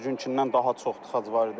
Hər günkindən daha çox tıxac var idi.